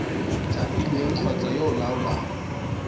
thapilweng kgotsa yo o laolang